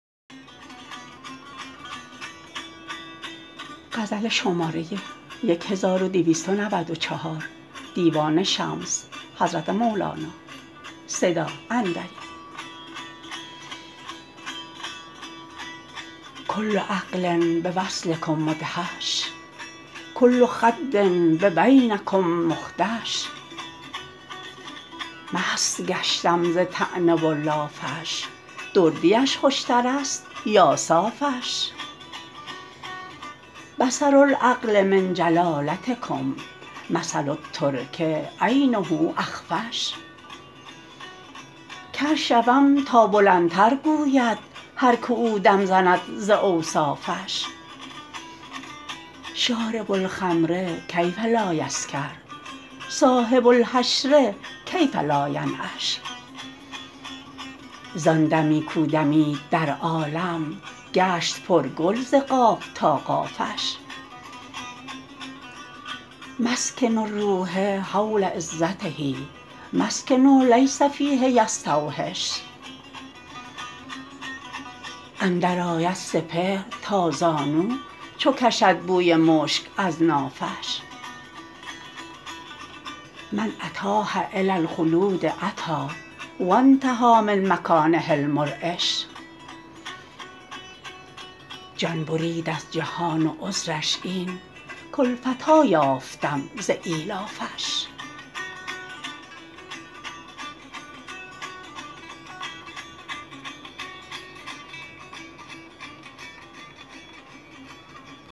کل عقل بوصلکم مدهش کل خد ببینکم مخدش مست گشتم ز طعنه و لافش دردیش خوشتر است یا صافش بصر العقل من جلالتکم مثل الترک عینه اخفش کر شوم تا بلندتر گوید هر که او دم زند ز اوصافش شارب الخمر کیف لا یسکر صاحب الحشر کیف لا ینعش زان دمی کو دمید در عالم گشت پرگل ز قاف تا قافش مسکن الروح حول عزته مسکن لیس فیه یستوحش اندرآید سپهر تا زانو چو کشد بوی مشک از نافش من اتاه الی الخلود اتی و انتهی من مکانه المرعش جان برید از جهان و عذرش این کالفتی یافتم ز ایلافش